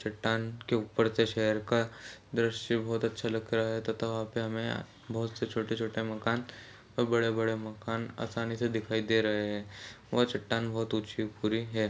चट्टान के ऊपर से शहर का दृश्य बोहोत अच्छा लग रहा है तथा वहाँ पे हमें बहुत से छोटे-छोटे मकान ओर बड़े- बड़े मकान आसानी से दिखाई दे रहे है वह चट्टान बहुत ऊँची और भूरी हैं।